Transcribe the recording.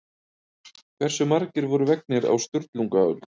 Hversu margir voru vegnir á Sturlungaöld?